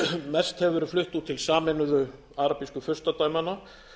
mest hefur verið flutt út til sameinuðu arabísku furstadæmanna